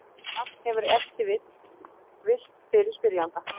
Þetta nafn hefur ef til vill villt fyrir spyrjanda.